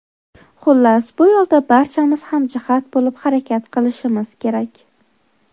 Xullas, bu yo‘lda barchamiz hamjihat bo‘lib harakat qilishimiz kerak.